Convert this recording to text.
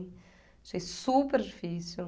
Achei super difícil.